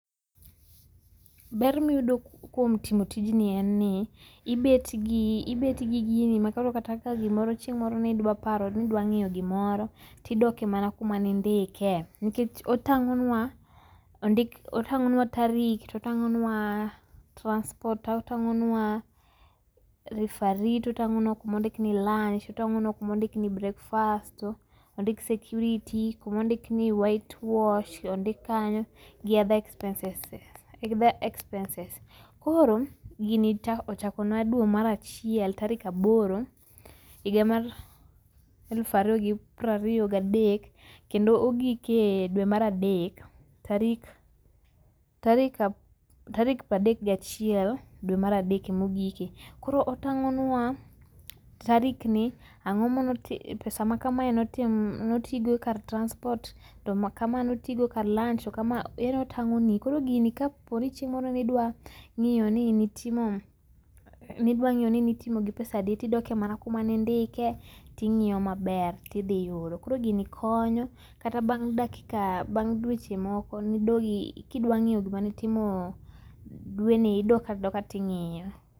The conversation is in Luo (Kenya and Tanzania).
Ber miydo kuom timo tijni en ni ibet gi ibet gi gini ma kata ka gimoro chieng' moro nidwa paro nidwa ng'io gimoro tidoke mana kuma nindike. Nikech otang'onwa ondik otang'onwa tarik to tang'onwa transport to tang'onwa referee to tang'onwa kumondik ni lunch otang'onwa kumaondik ni breakfast ondik security kumondik ni whitewash ondik kanyo gi other expenses. Koro ochakona dwe mar achiel tarik aboro higa mar eluf ario gi prario gadek kendo ogik e dwe mar adek tarik tarik tarik ah pradek gachiel dwe mar adek emogike. Koro otang'onwa tarik ni, ang'omanotim pesa makamae notim notii goo kar transport to makama notii go kar lunch to kama yani otang'oni. Koro gini kaponi chieng' moro nidwa ng'io ni nitimo nidwa ng'io ni nitimo gi pesa adi ti doke mana kuma nindike ting'io maber tidhiyudo. Koro gini konyo kata bang' dakika bang' dweche moko nidogi kidwa ng'io gima nitimo dweni idok adoka ting'io.